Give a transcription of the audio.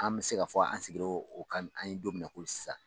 An bɛ se ka fɔ an sigira o kan an bɛ don min na ko sisan